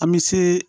An bɛ se